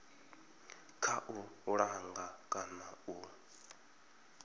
kha u langa kana u